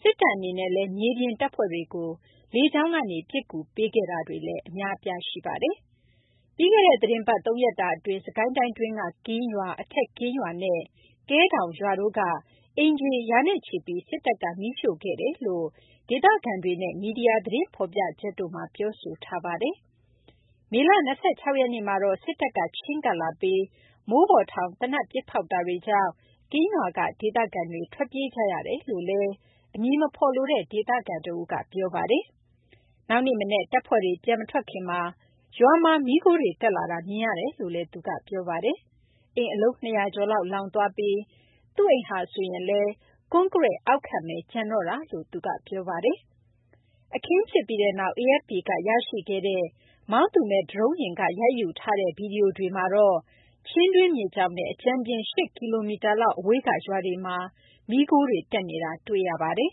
စစ်တပ် အနေနဲ့လည်း မြေပြင် တပ်ဖွဲ့တွေကို လေကြောင်း ကနေ ပစ်ကူပေးခဲ့တာတွေ အများအပြား ရှိပါတယ်။ ပြီးခဲ့တဲ့ သီတင်းပတ် သုံးရက်တာ အတွင်း စစ်ကိုင်းတိုင်းတွင်းက ကင်းရွာ၊ အထက်ကင်းရွာနဲ့ ကဲဒေါင် ရွာတို့က အိမ်ခြေ ရာနဲ့ချီပြီး စစ်တပ်က မီးရှို့ခဲ့တယ်လို့ ဒေသခံတွေနဲ့ မီဒီယာ သတင်းဖော်ပြချက်တို့မှာ ပြောဆိုထားပါတယ်။ မေလ ၂၆ ရက်နေ့မှာတော့ စစ်တပ်က ချဉ်းကပ်လာပြီး မိုးပေါ်ထောင် သေနတ်ပစ်ဖောက်တာတွေကြောင့် ကင်းရွာက ဒေသခံတွေ ထွက်ပြေးကြရကြောင်း အမည်မဖော်လိုတဲ့ ဒေသခံ တဦးက ပြောပါတယ်။ နောက်နေ့ မနက် တပ်ဖွဲ့တွေ ပြန်မထွက်ခင်မှာ ရွာမှာ မီးခိုးတွေ တက်လာတာ မြင်ခဲ့ရတယ်လို့လည်း သူက ပြောပါတယ်။ အိမ် အလုံး ၂၀၀ ကျော်လောက် လောင်သွားပြီး သူ့အိမ်ဟာဆိုရင်လည်း ကွန်ကရစ် အောက်ခံဘဲ ကျန်တော့တာလို့လည်း သူက ပြောပါတယ်။ အခင်းဖြစ်ပြီးနောက် AFP က ရရှိခဲ့တဲ့ မောင်းသူမဲ့ ဒရုန်းယာဉ်က ရိုက်ယူထားတဲ့ ဗီဒီယိုတွေမှာတော့ ချင်းတွင်းမြစ်ကြောင်းနဲ့ အကြမ်းဖျဉ်း ၈ ကီလိုမီတာလောက် အဝေးက ရွာတွေမှာ မီးခိုးတွေ တက်နေတာကို တွေ့ရပါတယ်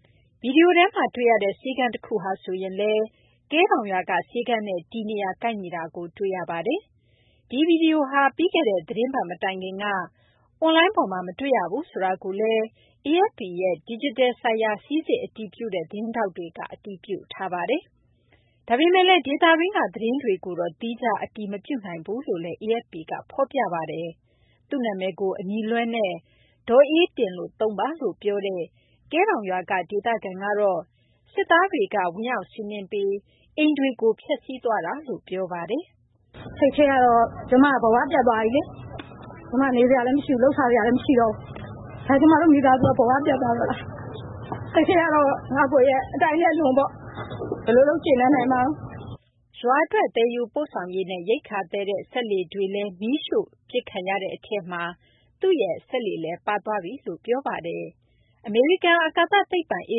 ။ ဗီဒီယိုထဲမှာ တွေ့ရတဲ့ ဆေးခန်းတခုဟာဆိုရင် ကဲဒေါင်ရွာက ဆေးခန်းနဲ့ တည်နေရာ ကိုက်ညီနေတာကို တွေ့ရပါတယ်။ ဒီ ဗွီဒီယိုဟာ ပြီးခဲ့တဲ့ သီတင်းပတ် မတိုင်ခက်က အွန်လိုင်းပေါ်မှာ မတွေ့ရဘူးဆိုတာကိုလည်း AFP ရဲ့ ဒီဂျစ်တယ် ဆိုင်ရာ စိစစ် အတည်ပြုတဲ့ သတင်းထောက်တွေက အတည်ပြုပါတယ်။ ဒါပေမယ့်လည်း ဒေသတွင်းက သတင်းတွေကိုတော့ သီးခြား အတည်မပြုနိုင်ဘူးလို့လည်း AFP က ဖော်ပြပါတယ်။ သူ့နာမည်ကို အမည်လွှဲနဲ့ ဒေါ်အေးတင် လို့ဘဲ သုံးပါလို့ ပြောတဲ့ ကဲဒေါင်ရွာက ဒေသခံ ကတော့ စစ်သားတွေက ဝင်ရောက်စီးနင်းပြီး အိမ်တွေကို ဖျက်စီးခဲ့တာလို့ ပြောပါတယ်။ စိတ်ထဲကတော့ ကျမ ဘ၀ ပျက်သွားပြီလေ။ ကျမ နေစရာလည်း မရှိတော့ဘူး။ လုပ်စားစရာလည်း မရှိတော့ဘူး။ ကျမတို့ မိသားစုက ဘ၀ ပျက်သွားတော့တာ။ ရွာ အတွက် သယ်ယူပို့ဆောင်ရေးနဲ့ ရိက္ခာ သယ်တဲ့ စက်လှေတွေလည်း မီးရှို့ပစ်ခံရတဲ့ အထဲမှာ သူ့ရဲ့ စက်လှေလည်း ပါသွားတယ်လို့ ပြောပါတယ်။ အမေရိကန် အာကာသ သိပ္ပံ အေ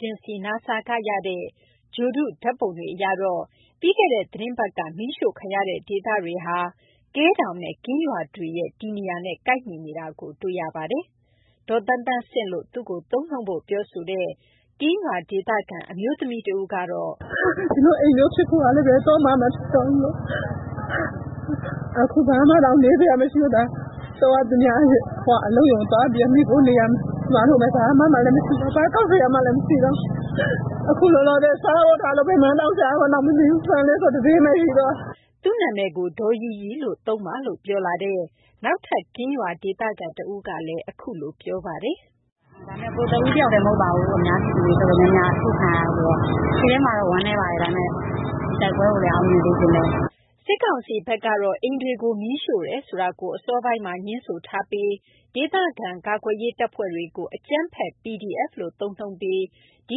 ဂျင်စီ NASA က ရတဲ့ ဂြိုဟ်တု ဓာတ်ပုံတွေ အရတော့ ပြီးခဲ့တဲ့ သီတင်းပတ်က မီးရှို့ခံရတဲ့ ဒေသတွေဟာ ကဲဒေါင်နဲ့ ကင်းရွာတွေရဲ့ တည်နေရာနဲ့ ကိုက်ညီနေတာကို တွေ့ရပါတယ်။ ဒေါ်သန်းသန်းဆင့်လို့ဘဲ သူ့ကို သုံးနှုန်း ပြောဆိုဖို့ ပြောလာတဲ့ ကင်းရွာ ဒေသခံ အမျိုးသမီး ကတော့ အခု ဘာမှတောင် နေစရာ မရှိတော့ဘူး။ သူများ အလုပ်ရုံသွားပြီးတော့ မှီခိုနေရမယ်။ ဘာမှလည်း မရှိတော့ဘူး။ ဘာကောက်စရာမှလည်း မရှိတော့ဘူး။ အခု လောလောဆယ် စားဖို့ထားလို့ ဘာမှ မရှိတော့ဘူး။ ဆန်လေးဆို တတင်းဘဲ ရှိတော့တယ်။ ဒေါ်ရီရီလို့ သုံးပါလို့ ပြောလာတဲ့ နောက်ထပ် ကင်းရွာ ဒေသခံ တဦးကတော့ ကိုယ်တဦး တယောက်တည်း မဟုတ်ပါဘူး။ အများပြည်သူ တော်တော်များများက အရှို့ခံရတာ ဆိုတော့ စိတ်ထဲမှာတော့ ဝမ်းနည်းပါတယ်။ ဒါပေမယ့် တိုက်ပွဲကိုလည်း အောင်မြင်စေချင်တယ်။ စစ်ကောင်စီဘက်ကတော့ အိမ်တွေကို မီးရှို့တယ်ဆိုတာကို အစောပိုင်းမှာ ငြင်းဆိုထားပြီး ဒေသခံ ကာကွယ်ရေး တပ်ဖွဲ့တွေကို အကြမ်းဖက် PDF လို့ သုံးနှုန်းပြီး ဒီ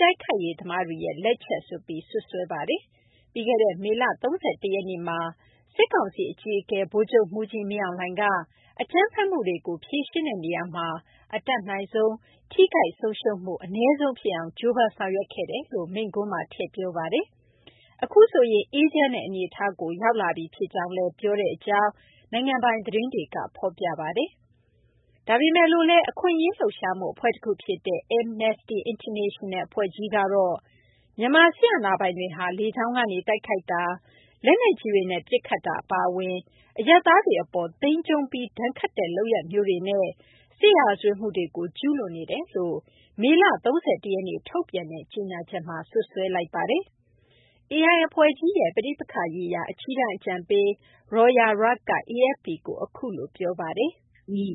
တိုက်ခိုက်ရေးသမားတွေရဲ့ လက်ချက်ဆိုပြီး စွပ်စွဲပါတယ်။ ပြီးခဲ့တဲ့ မေလ ၃၁ ရက်နေ့မှာ စစ်ကောင်စီ အကြီးအကဲ ဗိုလ်ချုပ်မှူးကြီး မင်းအောင်လှိုင်က အကြမ်းဖက်မှုတွေကို ဖြေရှင်းတဲ့ နေရာမှာ အတတ်နိုင်ဆုံး ထိခိုက်ဆုံးရှုံးမှု အနည်းဆုံး ဖြစ်အောင် ကြိုးပမ်းဆောင်ရွက်ခဲ့တယ်လို့ မိန့်ခွန်းမှာ ထည့်ပြောပါတယ်။ အခုဆိုရင် အေးချမ်းတဲ့ အနေအထားကို ရောက်လာပြီ ဖြစ်ကြောင်းလည်း ပြောဆိုကြောင်း နိုင်ငံပိုင် သတင်းတွေက ဖော်ပြပါတယ်။ ဒါပေမယ့်လည်း အခွင့်အရေး လှုပ်ရှားမှု အဖွဲ့ တခုဖြစ်တဲ့ Amnesty International အဖွဲ့ကြီးကတော့ မြန်မာ စစ်အာဏာပိုင်တွေဟာ လေကြောင်းကနေ တိုက်ခိုက်တာ၊ လက်နက်ကြီးတွေနဲ့ ပစ်ခတ်တာ အပါအဝင် အရပ်သားတွေ အပေါ် သိမ်းကျုံးပြီး ဒဏ်ခတ်တဲ့ လုပ်ရပ်မျိုးတွေနဲ့ စစ်ရာဇဝတ်မှုတွေကို ကျုးလွန်နေတယ်လို့ မေလ ၃၁ ရက်နေ့ ထုတ်ပြန်တဲ့ ကြေညာချက်မှာ စွပ်စွဲလိုက်ပါတယ်။ AI အဖွဲ့ကြီးရဲ့ ပဋိပက္ခရေးရာ အကြီးတန်း အကြံပေး Rawya Rageh က AFP ကို အခုလို ပြောဆိုပါတယ်။ နိုင်င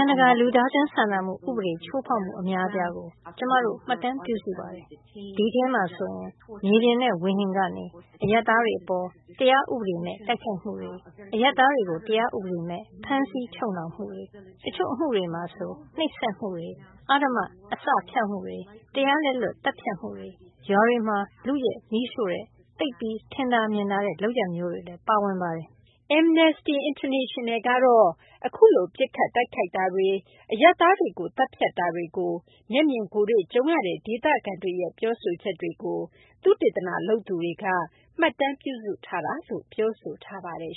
ံတကာ လူသားချင်း စာနာမှု ဥပဒေ ချိုးဖောက်မှု အများအပြားကို ကျမတို့ မှတ်တမ်းပြုစုပါတယ်။ ဒီထဲမှာဆိုရင် မြေပြင်နဲ့ ဝေဟင်ကနေ အရပ်သားတွေ အပေါ် တရားဥပဒေမဲ့ တိုက်ခိုက်မှုတွေ၊ အရပ်သားတွေကို တရားဥပဒေမဲ့ ဖမ်းဆီးချုပ်နှောင်မှုတွေ၊ တချို့အမှုတွေမှာ ဆိုရင် နှိပ်စက်မှုတွေ၊ အဓမ္မ အစဖျောက်မှုတွေ၊ တရားလက်လွတ် သတ်ဖြတ်မှုတွေ၊ ရွာတွေမှာ လုယက် မီးရှို့တဲ့ သိပ်ပြီး ထင်သာမြင်သာ လုပ်ရပ်မျိုးတွေလည်း ပါဝင်ပါတယ်။ Amnesty International ကတော့ အခုလို ပစ်ခတ်တိုက်ခိုက်တာတွေ၊ အရပ်သားတွေကို သတ်ဖြတ်တာတွေကို မျက်မြင်ကိုယ်တွေ့ ကြုံခဲ့ရတဲ့ ဒေသခံ တွေရဲ့ ပြောပြချက်တွေကို သုတေသနလုပ်သူတွေက မှတ်တမ်း ပြုစုထားတယ်လို့ ပြောဆိုထားပါတယ်